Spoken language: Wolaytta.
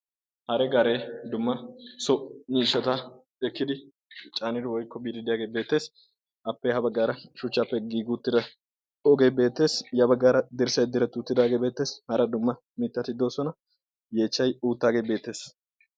hare gaaree dumma so miishshata ekkidi caanidi woyikko biiddi diyaage beettees. appe ha baggaara shuchchappe giigi uttida pooqe beettees. yabaggaara dirssay diretti uttidaagee beettees. hara dumma mittati doosona. yeechchay uuttaagee beettees.